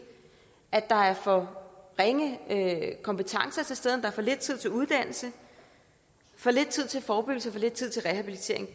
at der er for ringe kompetencer til stede og der er for lidt tid til uddannelse for lidt tid til forebyggelse for lidt tid til rehabilitering